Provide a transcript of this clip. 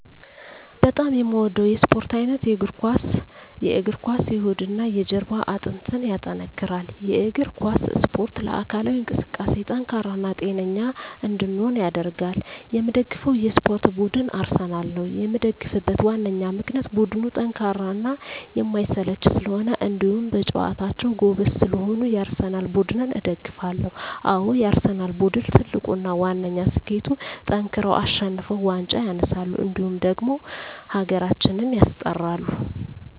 በጣም የምወደው የስፓርት አይነት የእግር ኳስ። የእግር ኳስ የሆድና የጀርባ አጥንትን ያጠነክራል። የእግር ኳስ እስፖርት ለአካላዊ እንቅስቃሴ ጠንካራ እና ጤነኛ እንድንሆን ያደርጋል። የምደግፈው የስፓርት ቡድን አርሰናል ነው። የምደግፍበት ዋነኛ ምክንያት ቡድኑ ጠንካራና የማይሰለች ስለሆኑ እንዲሁም በጨዋታቸው ጎበዝ ስለሆኑ የአርሰናል ቡድንን እደግፋለሁ። አዎ የአርሰናል ቡድን ትልቁና ዋነኛ ስኬቱጠንክረው አሸንፈው ዋንጫ ያነሳሉ እንዲሁም ደግሞ ሀገራችንም ያስጠራሉ።